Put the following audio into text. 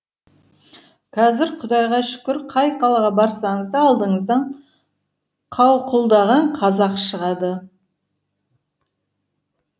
қазір құдайға шүкір қай қалаға барсаңыз да алдыңыздан қауқылдаған қазақ шығады